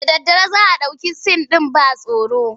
Da daddare za a ɗauki sin ɗin ban tsoro.